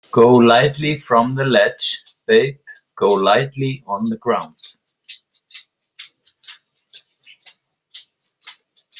Go lightly from the ledge, babe, Go lightly on the ground.